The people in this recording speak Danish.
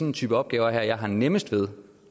en type opgave her jeg har nemmest ved